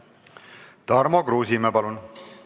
Tarmo Kruusimäe, palun!